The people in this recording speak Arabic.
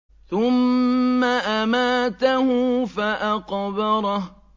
ثُمَّ أَمَاتَهُ فَأَقْبَرَهُ